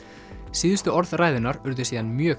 síðustu orð ræðunnar urðu síðan mjög